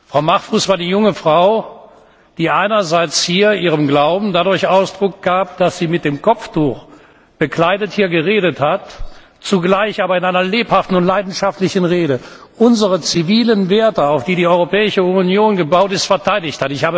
Frau Mahfouz war die junge Frau, die einerseits ihrem Glauben dadurch Ausdruck verlieh, dass sie hier mit dem Kopftuch bekleidet gesprochen hat, zugleich aber hat sie in einer lebhaften und leidenschaftlichen Rede unsere zivilen Werte, auf die die Europäische Union gebaut ist, verteidigt.